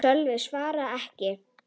Sölvi svaraði ekki.